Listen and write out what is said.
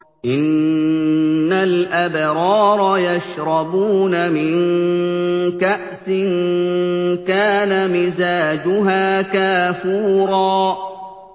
إِنَّ الْأَبْرَارَ يَشْرَبُونَ مِن كَأْسٍ كَانَ مِزَاجُهَا كَافُورًا